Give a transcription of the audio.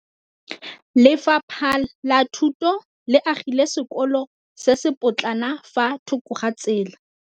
Lefapha la Thuto le agile sekôlô se se pôtlana fa thoko ga tsela.